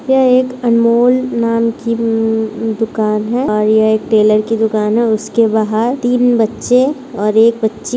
यह एक अनमोल नाम की उम्म दुकान है और यह एक टेलर की दुकान है उसके बाहर तीन बच्चे और एक बच्ची --